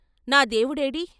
"నా దేవుడేడీ?